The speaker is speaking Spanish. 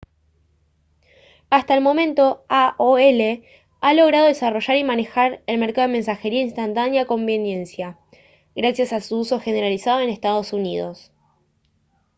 hasta el momento aol ha logrado desarrollar y manejar el mercado de mensajería instantánea a conveniencia gracias a su uso generalizado en ee uu